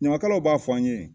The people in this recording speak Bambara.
Ɲamakalaw b'a fɔ an ɲe